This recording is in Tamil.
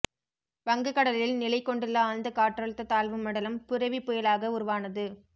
வங்கக் கடலில் நிலை கொண்டுள்ள ஆழ்ந்த காற்றழுத்தத் தாழ்வு மண்டலம் புரெவி புயலாக உருவானது